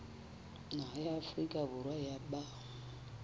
naha ya afrika borwa ba